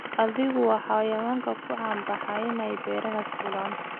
Adhigu waa xayawaan ku caan baxay in ay buuraha fuulaan.